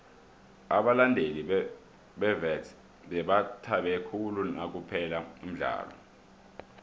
abalandeli bewits bebathabe khulu nakuphela umdlalo